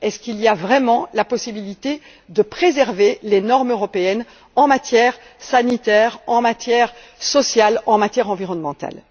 Est ce qu'il y a vraiment la possibilité de préserver les normes européennes en matière sanitaire, en matière sociale et en matière environnementale?